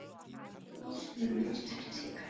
Þú tókst nú minnst eftir því hvernig ég var.